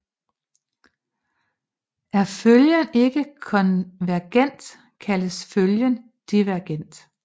Er følgen ikke konvergent kaldes følgen divergent